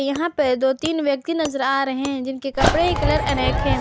यहां पर दो तीन व्यक्ति नजर आ रहे हैं जिनके कपड़े का कलर अनेक हैं।